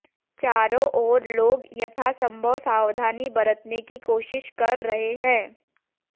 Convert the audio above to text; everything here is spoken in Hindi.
चारों ओर लोग यथासंभव सावधानी बरतने की कोशिश कर रहे हैं